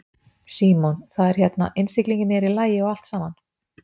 Símon: Það er hérna, innsiglingin er í lagi og allt saman?